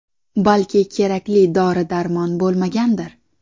Balki, kerakli dori-darmon bo‘lmagandir.